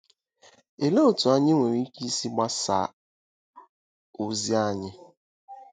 Olee otú anyị nwere ike isi gbasaa ozi anyị?